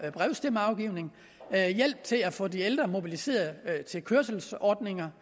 brevstemmeafgivning hjælp til at få de ældre mobiliserede med kørselsordninger